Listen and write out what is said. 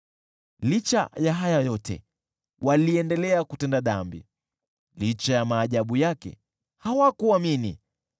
Licha ya haya yote, waliendelea kutenda dhambi, licha ya maajabu yake, hawakuamini.